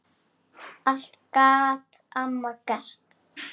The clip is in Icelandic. Allt gat amma gert.